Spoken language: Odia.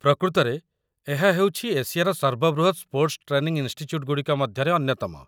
ପ୍ରକୃତରେ, ଏହା ହେଉଛି ଏସିଆର ସର୍ବବୃହତ୍ ସ୍ପୋର୍ଟ୍‌ସ୍‌ ଟ୍ରେନିଂ ଇନ୍‌ଷ୍ଟିଚ‍୍ୟୁଟ୍‌ ଗୁଡ଼ିକ ମଧ୍ୟରେ ଅନ୍ୟତମ